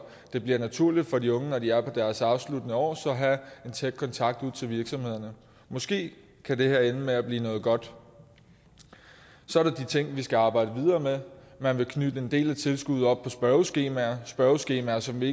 det bliver naturligt for de unge når de er på deres afsluttende år at have en tæt kontakt til virksomhederne måske kan det her ende med at blive noget godt så er der de ting vi skal arbejde videre med man vil knytte en del af tilskuddet op på spørgeskemaer spørgeskemaer som vi